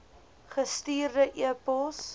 gestuurde e pos